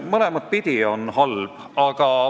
Mõlemat pidi on halb.